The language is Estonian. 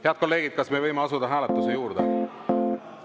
Head kolleegid, kas me võime asuda hääletuse juurde?